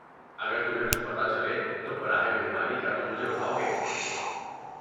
اگر تمہیں کچھ پتہ چلے تو براہ مہربانی کیا تم مجھے بتاؤ گے؟